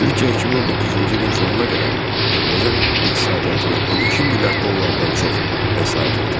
Türkiyə 2019-cu ilin sonuna qədər Azərbaycan iqtisadiyyatına 12 milyard dollardan çox vəsait yatırıb.